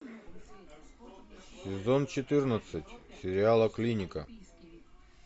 сезон четырнадцать сериала клиника